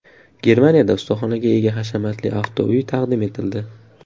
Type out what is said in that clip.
Germaniyada ustaxonaga ega hashamatli avtouy taqdim etildi .